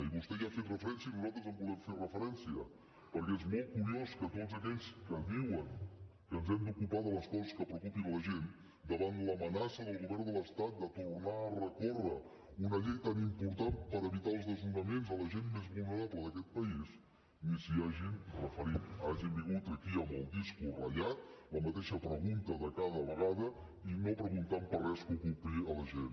i vostè hi ha fet referència i nosaltres hi volem fer referència perquè és molt curiós que tots aquells que diuen que ens hem d’ocupar de les coses que preocupen la gent davant l’amenaça del govern de l’estat de tornar a recórrer contra una llei tan important per evitar els desnonaments a la gent més vulnerable d’aquest país ni s’hi hagin referit i hagin vingut aquí amb el disc ratllat la mateixa pregunta de cada vegada i no hagin preguntat per res que ocupi la gent